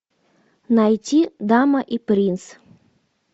найти дама и принц